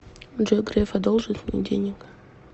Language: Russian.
джой греф одолжит мне денег